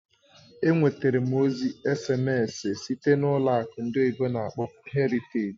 Enwetara m ozi èsèmésị site na ụlọ akụ ndị oyibo n'akpọ "Heritage".